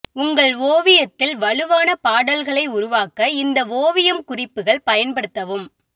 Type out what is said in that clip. உங்கள் ஓவியத்தில் வலுவான பாடல்களை உருவாக்க இந்த ஓவியம் குறிப்புகள் பயன்படுத்தவும்